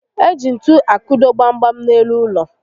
Eji ntu akụdo gbam gbam n'elu ụlọ